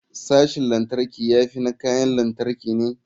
Sashin lantarki ya fi na kayan lantarki ne.